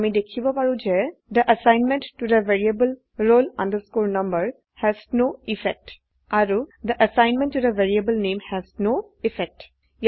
আমি দেখিব পাৰো যে থে এছাইনমেণ্ট ত the variable roll number has no effect আৰু থে এছাইনমেণ্ট ত the variable name has no effect